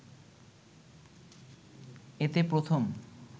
এতে প্রথম